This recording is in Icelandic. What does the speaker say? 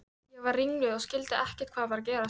Ég varð ringluð og skildi ekki hvað var að gerast.